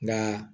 Nka